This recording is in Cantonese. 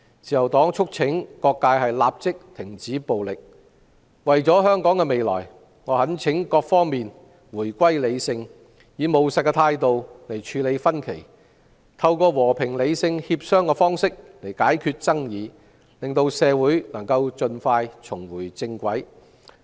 自由黨促請各界立即停止暴力，為了香港的未來，我懇請各方回歸理性，並以務實態度處理分歧，以及透過和平理性協商解決爭議，讓社會盡快重回正軌。